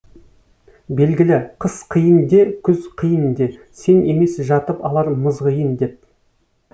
белгілі қыс қиын де күз қиын де сен емес жатып алар мызғиын деп